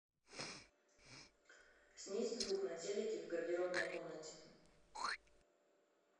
снизь звук на телике в гардеробной комнате